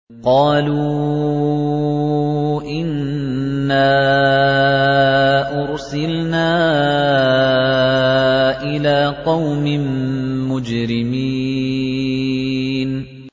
قَالُوا إِنَّا أُرْسِلْنَا إِلَىٰ قَوْمٍ مُّجْرِمِينَ